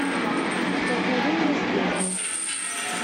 столкновение с бездной